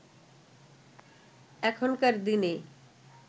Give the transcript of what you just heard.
এখনকার দিনে